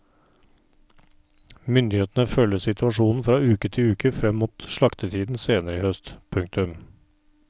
Myndighetene følger situasjonen fra uke til uke frem mot slaktetiden senere i høst. punktum